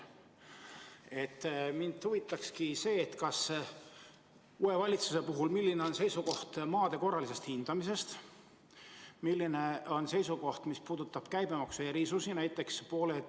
Mind huvitabki see, milline on uue valitsuse seisukoht maade korralise hindamise küsimuses ja milline on teie seisukoht käibemaksu erisuste küsimuses.